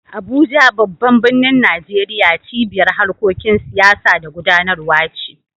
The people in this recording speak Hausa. Abuja, babban birnin Najeriya, cibiyar harkokin siyasa da gudanarwa ce.